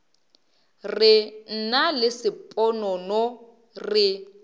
re nna le sponono re